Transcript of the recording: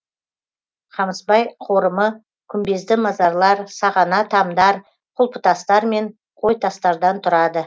қамысбай қорымы күмбезді мазарлар сағана тамдар құлпытастар мен қойтастардан тұрады